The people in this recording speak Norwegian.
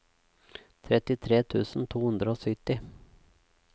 trettitre tusen to hundre og sytti